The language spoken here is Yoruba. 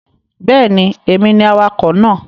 Bẹ́ẹ̀ni, èmi ni awakọ̀ náà